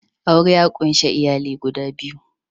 Aure ya ƙunshi iyali guda biyu